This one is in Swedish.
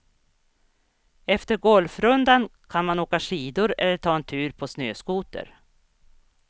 Efter golfrundan kan man åka skidor eller ta en tur på snöskoter.